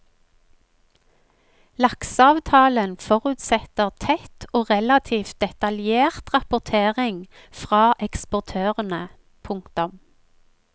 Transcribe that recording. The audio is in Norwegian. Lakseavtalen forutsetter tett og relativt detaljert rapportering fra eksportørene. punktum